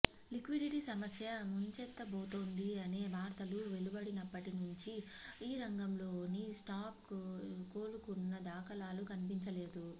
liquidity సమస్య ముంచెత్తబోతోంది అనే వార్తలు వెలువడినప్పటి నుంచి ఈ రంగంలోని స్టాక్స్ కోలుకున్న దాఖలాలు కనిపించలేదు